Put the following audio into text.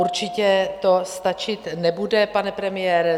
Určitě to stačit nebude, pane premiére.